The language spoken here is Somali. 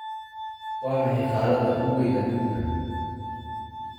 Waa maxay qaarada ugu wayn aduunka?